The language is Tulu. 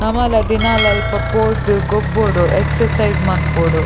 ನಮಲ ದಿನಾಲ ಅಲ್ಪಪೋದು ಗೊಬ್ಬೊಡು ಎಕ್ಸಸೈಸ್ ಮನ್ಪೊಡು.